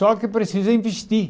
Só que precisa investir.